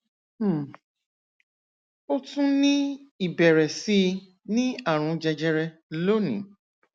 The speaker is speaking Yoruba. um ó tún ní ìbẹrẹ sí í ní àrùn jẹjẹrẹ lónìí